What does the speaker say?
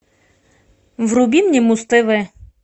вруби мне муз тв